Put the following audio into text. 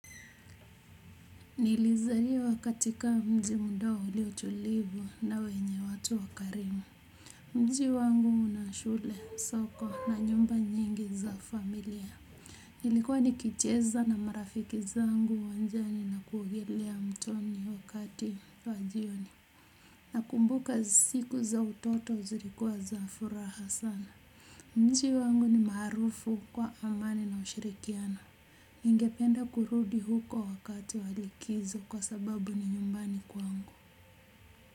Nilizaliwa katika mji mdogo ulio tulivu na wenye watu wakarimu mji wangu una shule, soko na nyumba nyingi za familia nilikuwa nikicheza na marafiki zangu uwanjani na kuogelea mtoni wakati wa jioni nakumbuka siku za utoto zilikuwa za furaha sana mji wangu ni marufu kwa amani na ushirikiana ningependa kurudi huko wakati wa likizo kwa sababu ni nyumbani kwangu.